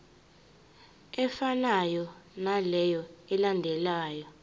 efanayo naleyo eyalandelwa